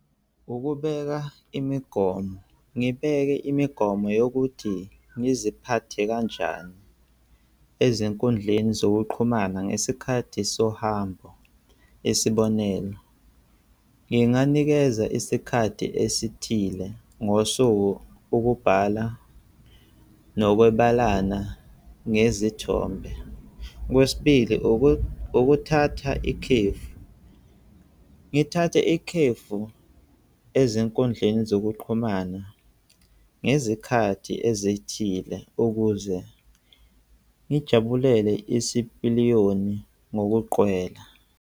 Ukubeka imigomo. Ngibeke imigomo yokuthi ngiziphathe kanjani ezinkundleni zokuqhumana ngesikhathi sohambo. Isibonelo, nginganikeza isikhathi esithile ngosuku, ukubhala nokwabelana ngezithombe. Okwesibili, ukuthatha ikhefu, ngithathe ikhefu ezinkundleni zokuqhumana ngezikhathi ezithile ukuze ngijabulele isipiliyoni ngokuqwela.